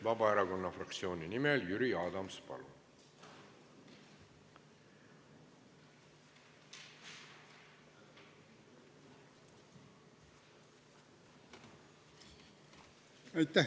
Vabaerakonna fraktsiooni nimel Jüri Adams, palun!